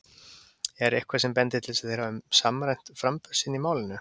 Er eitthvað sem bendir til þess að þeir hafi samræmt framburð sinn í málinu?